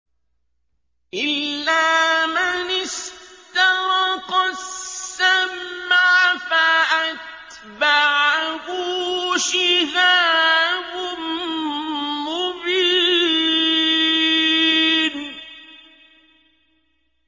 إِلَّا مَنِ اسْتَرَقَ السَّمْعَ فَأَتْبَعَهُ شِهَابٌ مُّبِينٌ